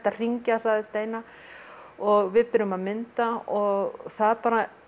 að hringja sagði steina og við byrjum að mynda og það